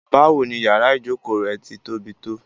Báwò ní yàrà ìjọkọ rẹ̀ tí tó bí tó?